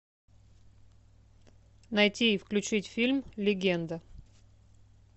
найти и включить фильм легенда